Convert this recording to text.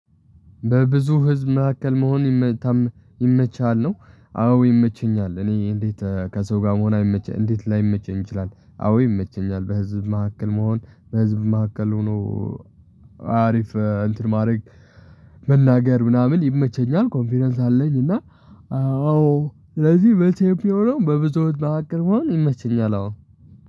በብዙ ህዝብ መካከል መሆን ይመችሃል? ነው አዎ ይመቸኛል። እኔ እንዴት ከሰው ጋር መሆን አይመቸኝ እንዴት ላይመቸኝ ይችላል። አዎ ይመቸኛል። በህዝብ መካከል መሆን። በህዝብ መካከል ሆኖ አሪፍ እንትን ማድረግ መናገር ምናምን ይመቸኛል። ኮንፊደንስ አለኝ። እና አዎ ስለዚህ በቴምፒዮኖም በብዙዎች መሀከል መሆን ይመችኛል አዎ